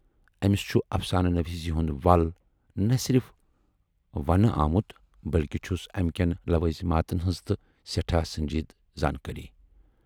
ٲمِس چھُ اَفسانہٕ نویٖسی ہُند ول نہَ صرِف ونہِ آمُت بٔلۍکہِ چھُس امہِ کٮ۪ن لوازماتن ہٕنز تہٕ سٮ۪ٹھاہ سنجیٖدٕ زٲنکٲری۔